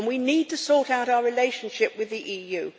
We need to sort out our relationship with the EU.